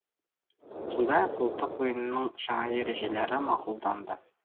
сондай ақ ұлттық ойынның жаңа ережелері мақұлданды